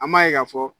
An b'a ye k'a fɔ